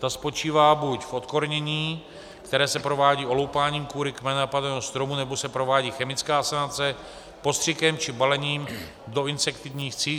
Ta spočívá buď v odkornění, které se provádí oloupáním kůry kmene napadeného stromu, nebo se provádí chemická asanace postřikem či balením do insektivních sítí.